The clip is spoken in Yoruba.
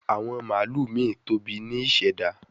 Awon malu mi tobi ni iseda